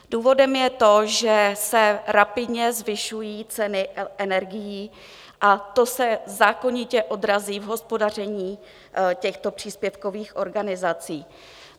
Důvodem je to, že se rapidně zvyšují ceny energií, a to se zákonitě odrazí v hospodaření těchto příspěvkových organizací.